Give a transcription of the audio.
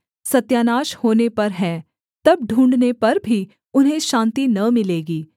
सत्यानाश होने पर है तब ढूँढ़ने पर भी उन्हें शान्ति न मिलेगी